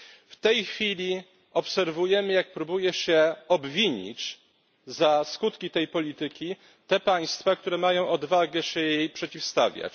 W tej chwili obserwujemy, jak próbuje się obwinić za skutki tej polityki te państwa, które mają odwagę się jej przeciwstawiać.